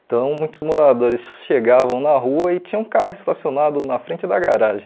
Então, muitos moradores chegavam na rua e tinha um carro estacionado na frente da garagem.